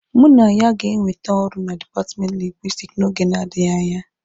Mụ na ya ga-enwete ọrụ na dipatmenti Lingwisitiki n'oge na-adịghị anya.